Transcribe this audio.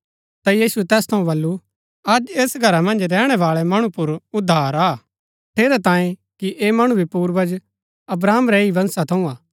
ता यीशुऐ तैस थऊँ बल्लू अज ऐस घरा मन्ज रैहणै बाळै मणु पुर उद्धार आ हा ठेरैतांये कि ऐह मणु भी पूर्वज अब्राहम रै ही वंशा थऊँ हा